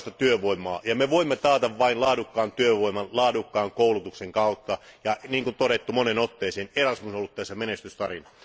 Laadukasta työvoimaa, ja me voimme taata vain laadukkaan työvoiman laadukkaan koulutuksen kautta, ja niin kuin todettu moneen otteeseen, Erasmus on ollut tässä menestystarina.